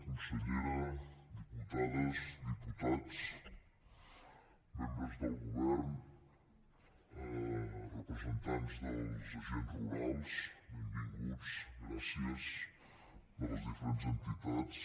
consellera diputades diputats membres del govern representants dels agents rurals benvinguts gràcies de les diferents entitats